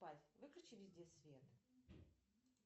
выключи везде свет